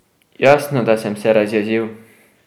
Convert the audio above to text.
Jasno, da sem se razjezil!